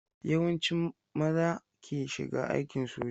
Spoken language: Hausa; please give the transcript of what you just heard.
Yawancin maza ke shiga aikin soja.